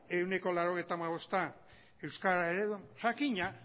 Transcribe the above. ehuneko laurogeita hamabosta euskara ereduan jakina